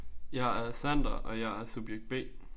Jeg er Sander og jeg er subjekt B